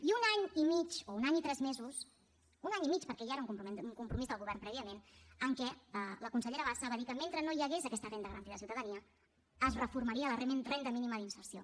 i un any i mig o un any i tres mesos un any i mig perquè ja era un compromís del govern prèviament en què la consellera bassa va dir que mentre no hi hagués aquesta renda garantida de ciutadania es reformaria la renda mínima d’inserció